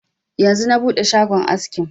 Yanzu na buɗe shagon askin